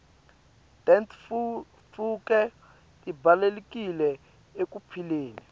tentfutfuko tibalulekile ekuphileni